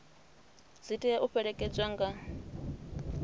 dzi tea u fhelekedzwa nga